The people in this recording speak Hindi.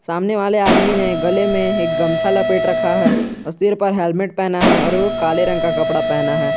सामने वाले आदमी ने गले में एक गमछा लपेट रखा है और सिर पर हेलमेट पहना है और वह काले रंग का कपड़ा पहना है।